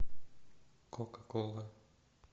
кока кола